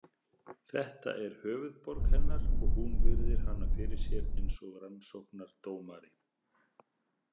Þetta er höfuðborg hennar og hún virðir hana fyrir sér eins og rannsóknardómari.